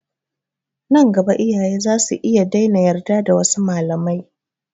Nan gaba iyaye za su iya daina yarda da wasu malamai.